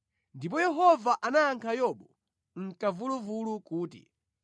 Ndipo Yehova anayankha Yobu mʼkamvuluvulu kuti,